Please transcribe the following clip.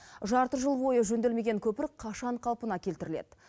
жарты жыл бойы жөнделмеген көпір қашан қалпына келтіріледі